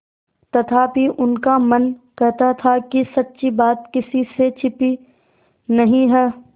तथापि उनका मन कहता था कि सच्ची बात किसी से छिपी नहीं है